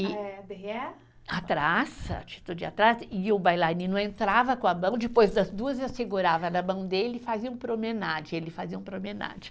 Atrás, atitude atrás, e o bailarino entrava com a mão, depois das duas eu segurava na mão dele e fazia um promenade, ele fazia um promenade.